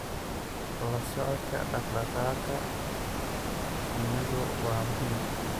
La socodka dhaqdhaqaaqa shinnidu waa muhiim.